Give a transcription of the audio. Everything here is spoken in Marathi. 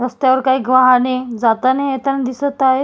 रस्त्यावर काहिक वाहने जाताना येताना दिसत आहेत.